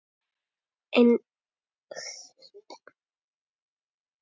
Eins á Hótel Íslandi síðar.